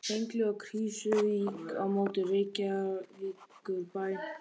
Hengli og Krýsuvík á móti Reykjavíkurbæ og